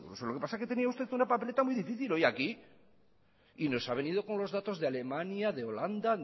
rigurosos lo que pasa es que tenía usted una papeleta muy difícil hoy aquí y nos ha venido con los datos de alemania de holanda